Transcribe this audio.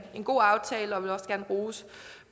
god aftale og vil også gerne rose